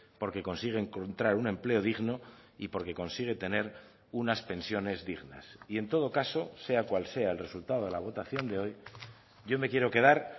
porque consigue encontrar un empleo digno y porque consigue tener unas pensiones dignas y en todo caso sea cual sea el resultado de la votación de hoy yo me quiero quedar